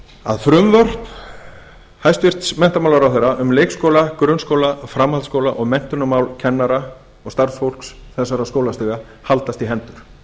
að frumvörp hæstvirtur menntamálaráðherra um leikskóla grunnskóla framhaldsskóla og menntunarmál kennara og starfsfólks þessara skóla haldast í hendur